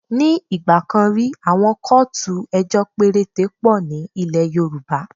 Ní ìgbà kan rí, àwọn kóòtù ejọ́ péréte pọ̀ ní ilẹ̀ Yorùbá.